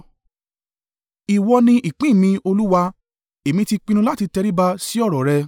Ìwọ ni ìpín mi, Olúwa: èmi ti pinnu láti tẹríba sí ọ̀rọ̀ rẹ.